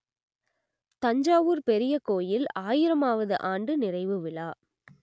தஞ்சாவூர் பெரிய கோயில் ஆயிரமாவது ஆண்டு நிறைவு விழா